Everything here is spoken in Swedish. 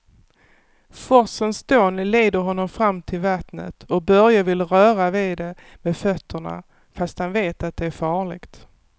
Forsens dån leder honom fram till vattnet och Börje vill röra vid det med fötterna, fast han vet att det är farligt.